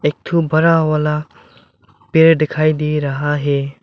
एक ठो बड़ा वाला पेड़ दिखाई दे रहा है।